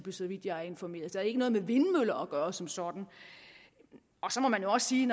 så vidt jeg er informeret så ikke noget med vindmøller at gøre som sådan så må man også sige